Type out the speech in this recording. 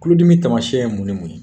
Kulodimi tamasiyɛn ye mun ni mun ye?